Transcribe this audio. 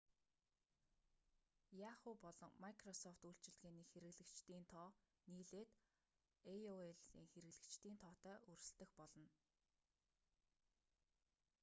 yahoo! болон microsoft үйлчилгээний хэрэглэгчдийн тоо нийлээд aol-ийн хэрэглэгчдийн тоотой өрсөлдөх болно